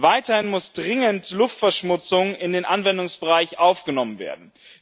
Weiterhin muss dringend Luftverschmutzung in den Anwendungsbereich aufgenommen werden.